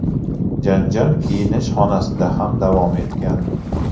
Janjal kiyinish xonasida ham davom etgan.